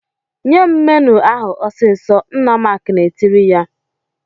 "Nye m menụ ahụ ọsịsọ!" Nna Mark na-etiri ya.